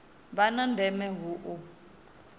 vha na ndeme hu u